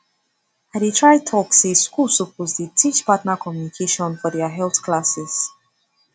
i dey try talk say schools suppose dey teach partner communication for their health classes